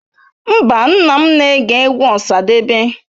Mba, nna m na-ege egwu Osadebe.